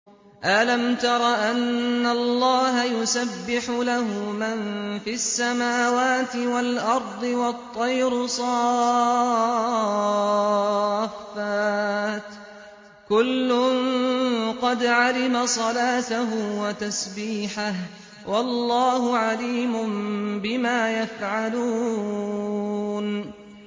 أَلَمْ تَرَ أَنَّ اللَّهَ يُسَبِّحُ لَهُ مَن فِي السَّمَاوَاتِ وَالْأَرْضِ وَالطَّيْرُ صَافَّاتٍ ۖ كُلٌّ قَدْ عَلِمَ صَلَاتَهُ وَتَسْبِيحَهُ ۗ وَاللَّهُ عَلِيمٌ بِمَا يَفْعَلُونَ